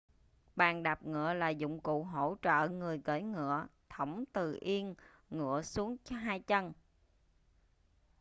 bàn đạp ngựa là dụng cụ hỗ trợ người cưỡi ngựa thõng từ yên ngựa xuống hai chân